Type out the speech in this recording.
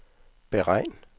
beregn